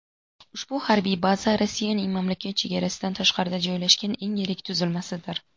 Ushbu harbiy baza Rossiyaning mamlakat chegarasidan tashqarida joylashgan eng yirik tuzilmasidir.